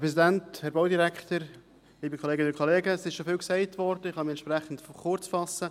Es ist schon vieles gesagt worden, ich kann mich entsprechend kurzfassen.